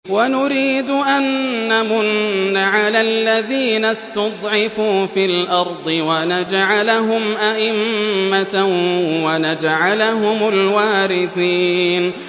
وَنُرِيدُ أَن نَّمُنَّ عَلَى الَّذِينَ اسْتُضْعِفُوا فِي الْأَرْضِ وَنَجْعَلَهُمْ أَئِمَّةً وَنَجْعَلَهُمُ الْوَارِثِينَ